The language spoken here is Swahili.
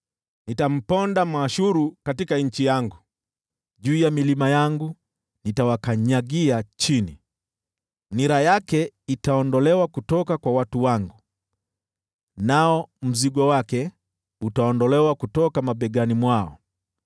Nitamponda Mwashuru katika nchi yangu, juu ya milima yangu nitawakanyagia chini. Nira yake itaondolewa kutoka kwa watu wangu, nao mzigo wake utaondolewa kutoka mabegani mwao.”